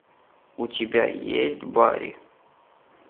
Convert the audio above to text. у тебя есть барри